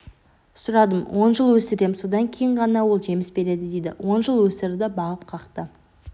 сұрадым он жыл өсірем содан кейін ғана ол жеміс береді дейді он жыл өсірді бағып-қақты